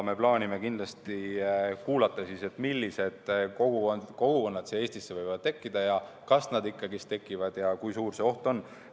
Me plaanime kindlasti kuulata, millised kogukonnad Eestisse võivad tekkida, kas need ikkagi tekivad ja kui suur see oht on.